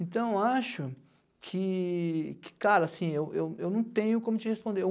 Então, acho que... Que cara, assim, eu eu eu não tenho como te responder.